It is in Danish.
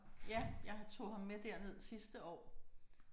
Ja jeg har tog ham med derned sidste år